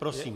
Prosím.